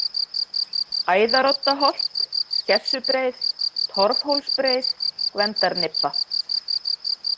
Æðaroddaholt, Skessubreið, Torfhólsbreið, Gvendarnibba